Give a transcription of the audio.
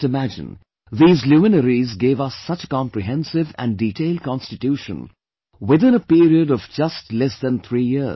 Just imagine, these luminaries gave us such a comprehensive and detailed Constitution within a period of just less than 3 years